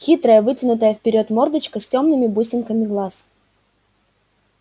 хитрая вытянутая вперёд мордочка с тёмными бусинками глаз